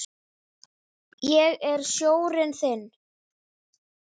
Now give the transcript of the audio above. Ég er sjórinn þinn.